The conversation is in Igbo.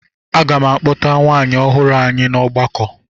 Aga m akpọta nwunye ọhụrụ anyị na ọgbakọ.